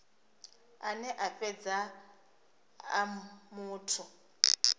ane a fhedza a muthu